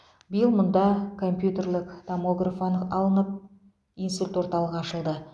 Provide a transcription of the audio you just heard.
биыл мұнда компьютерлік томограф анық алынып инсульт орталығы ашылды